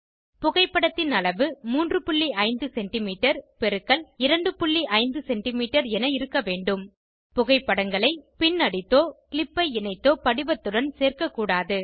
புகைப்படத்தின் அளவு 35செமீ எக்ஸ் 25செமீ என இருக்க வேண்டும் புகைப்படங்களை பின் அடித்தோ க்ளிப்பை இணைத்தோ படிவத்துடன் சேர்க்க கூடாது